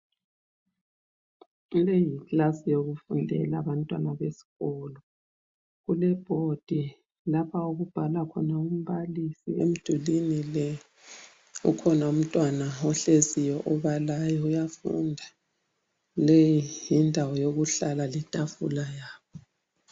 Leyi yikilasi yokufundela abantwana besikolo kulebhodi lapha okubhala khona umbalisi emdulini le. Ukhona umntwana ohleziyo obalayo uyafunda. Leyi yindawo yokuhlala letafula yabo.